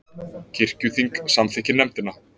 Kirkjuþing samþykkir nefndina